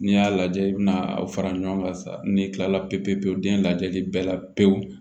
N'i y'a lajɛ i bi na aw fara ɲɔgɔn kan sa ni kilala pewu den lajɛli bɛɛ la pewu